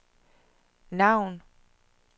navn